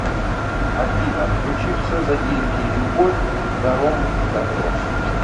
афина включи все за деньги и любовь даром дабро